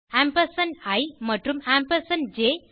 ampersand இ மற்றும் ampersand ஜ்